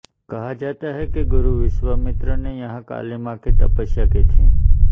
कहा जाता है कि गुरु विश्वामित्र ने यहाँ काली माँ की तपस्या की थी